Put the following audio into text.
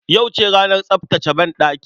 Yauce ranar tsaftace banɗaki.